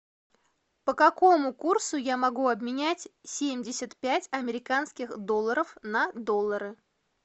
по какому курсу я могу обменять семьдесят пять американских долларов на доллары